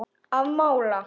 Að mála.